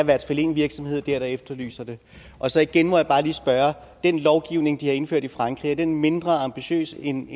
hvert fald en virksomhed der der efterlyser det og så igen må jeg bare lige spørge den lovgivning de har indført i frankrig er den mindre ambitiøs end